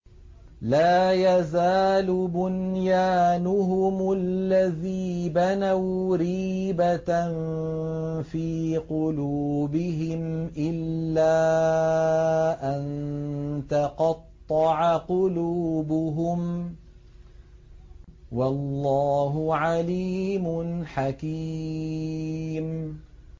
لَا يَزَالُ بُنْيَانُهُمُ الَّذِي بَنَوْا رِيبَةً فِي قُلُوبِهِمْ إِلَّا أَن تَقَطَّعَ قُلُوبُهُمْ ۗ وَاللَّهُ عَلِيمٌ حَكِيمٌ